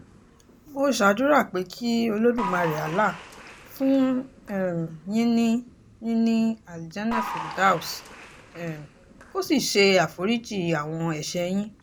mo ṣàdúrà pé kí olódùmarè allah fún um yín ní yín ní aljannah firdaus um kó sì ṣe àforíjì àwọn ẹ̀ṣẹ̀ yín